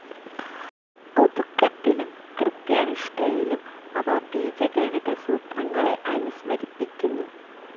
ഒതുക്കത്തിലും കൃത്യത്യാനിഷ്ഠയിലും അവ ബീജഗണിതസൂത്രങ്ങളെ അനുസ്മരിപ്പിക്കുന്നു.